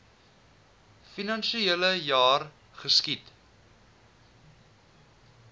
finansiele jaar geskied